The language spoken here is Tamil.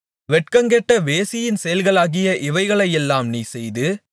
வெட்கங்கெட்ட வேசியின் செயல்களாகிய இவைகளையெல்லாம் நீ செய்து